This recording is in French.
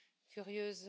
Curieuse